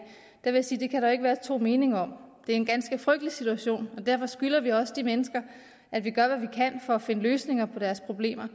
vil jeg sige at det kan der ikke være to meninger om det er en ganske frygtelig situation og derfor skylder vi også de mennesker at vi gør hvad vi kan for at finde løsninger på deres problemer